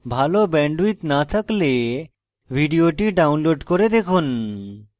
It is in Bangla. ভাল bandwidth না থাকলে ভিডিওটি download করে দেখুন